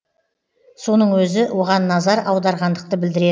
соның өзі оған назар аударғандықты білдіре